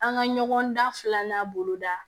An ka ɲɔgɔn da filanan boloda